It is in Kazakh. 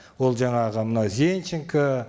ол жаңағы мына зенченко